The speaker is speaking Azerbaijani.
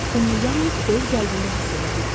Onu yalnız öz qəlbində hiss edə bilərsən.